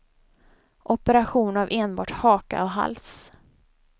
Operation av enbart haka och hals.